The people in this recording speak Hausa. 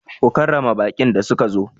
Ku karrama baƙin da suka zo!